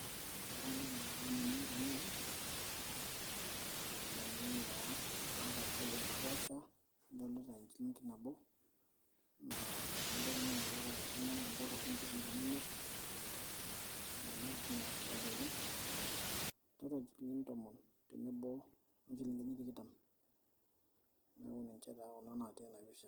Kadolita naa nanu tenewoji, iropiani naa naata CS[value]CS naapaasha kadolita CS[shilling]CS kadolita siinye CS[shillings]CS imiet nemeeta sinye CS[value]CS ole'ng kadolita sii injilingini tomon tenebo oo njilingini tikitam neeku ninche naa naatii ena picha.